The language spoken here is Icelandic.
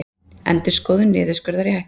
Endurskoðun niðurskurðar í hættu